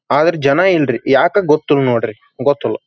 ಆದ್ರೆ ಜನ ಇಲ್ಲರಿ ಯಾಕ್ ಗೊತ್ತಿಲ್ಲಾ ನೋಡ್ರಿ ಗೊತ್ತಿಲ್ಲಾ.